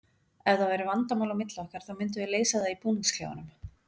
Ef það væru vandamál á milli okkar þá myndum við leysa það í búningsklefanum.